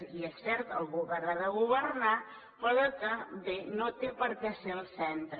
i és cert el govern ha de governar però que bé no té per què ser el centre